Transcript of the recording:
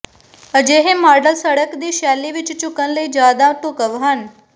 ਅਜਿਹੇ ਮਾਡਲ ਸੜਕ ਦੀ ਸ਼ੈਲੀ ਵਿਚ ਝੁਕਣ ਲਈ ਜ਼ਿਆਦਾ ਢੁਕਵ ਹਨ